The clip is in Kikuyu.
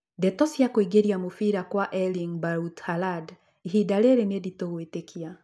Ndeto cia kũingĩria mũbira kwa Erling Braut Haaland ihinda rĩrĩ nĩ nditũ gwĩtĩkia